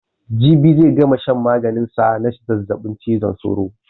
Jibi zai gama shan maganin sa na zazzabin cizon sauro.